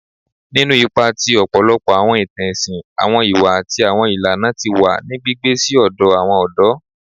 Ninu ipa ti ọpọlọpọ awọn itan ẹsin, awọn iwa ati awọn ilana ti wa ni gbigbe si ọdọ awọn ọdọ